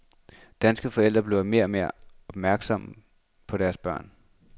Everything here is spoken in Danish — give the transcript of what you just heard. Danske forældre bliver mere og mere opmærksommepå deres børn.